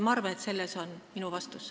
Ma arvan, et see on minu vastus.